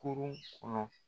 Kurun kɔnɔ.